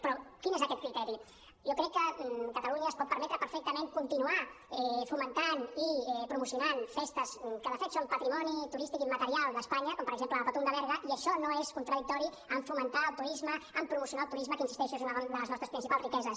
però quin és aquest criteri jo crec que catalunya es pot permetre perfectament continuar fomentant i promocionant festes que de fet són patrimoni turístic immaterial d’espanya com per exemple la patum de berga i això no és contradictori amb fomentar el turisme amb promocionar el turisme que hi insisteixo és una de les nostres principals riqueses